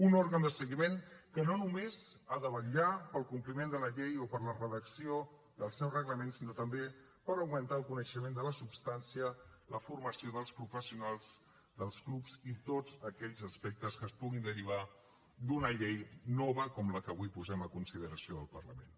un òrgan de seguiment que no només ha de vetllar pel compliment de la llei o per la redacció del seu reglament sinó també per augmentar el coneixement de la substància la formació dels professionals dels clubs i tots aquells aspectes que es puguin derivar d’una llei nova com la que avui posem a consideració del parlament